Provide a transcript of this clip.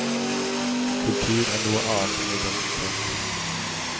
Kultur er noe annet enn identitet.